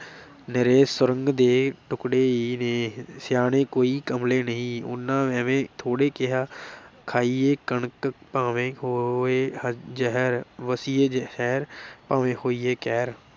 ਨਿਰੇ ਸੁਰਗ ਦੇ ਟੁਕੜੇ ਈ ਨੇ, ਸਿਆਣੇ ਕੋਈ ਕਮਲੇ ਨਹੀਂ, ਉਨ੍ਹਾਂ ਐਵੇਂ ਥੋੜ੍ਹੇ ਕਿਹਾ ਖਾਈਏ ਕਣਕ, ਭਾਵੇਂ ਹੋਏ ਜ਼ਹਿਰ, ਵਸੀਏ ਸ਼ਹਿਰ ਭਾਵੇਂ ਹੋਈਏ ਕਹਿਰ।